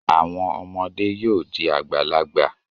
Àwọn ọmọdé yóò di àgbàlagbà.